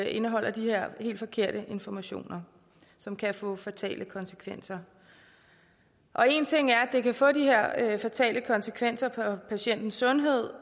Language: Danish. indeholder de her helt forkerte informationer som kan få fatale konsekvenser og én ting er at det kan få de her fatale konsekvenser for patientens sundhed